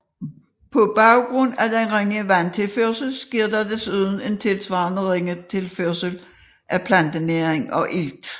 På grund af den ringe vandtilførsel sker der desuden en tilsvarende ringe tilførsel af plantenæring og ilt